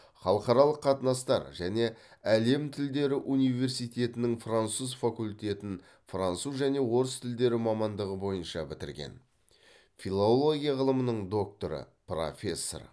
халықаралық қатынастар және әлем тілдері университетінің француз факультетін француз және орыс тілдері мамандығы бойынша бітірген филология ғылымының докторы профессор